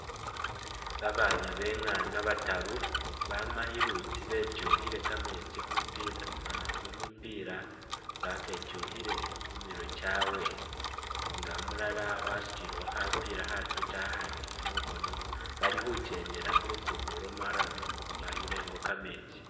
Babaana bengana bataru bama ilutsi betwukhile kameetsi mumi pila baketwukhile khumirwe kyawe nga ulala wasutilekho khapila khafiti akhandi mukhono, bali khutsendela khulukudo lwa marrum bayila ingo kameetsi.